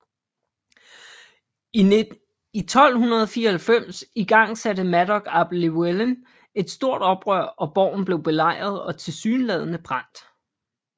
I 1294 igangsatte Madog ap Llywelyn et stort oprør og borgen blev belejret og tilsyneladende brændt